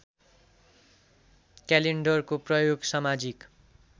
क्यालेण्डरको प्रयोग समाजिक